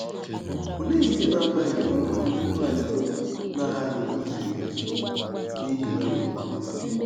Olee ihe na-abaghị uru Ndị Kraịst na-aghaghị izere ile, n’ihi gịnịkwa?